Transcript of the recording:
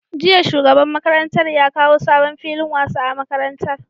Jiya shugaban makarantar ya kawo sabon filin wasa a makarantar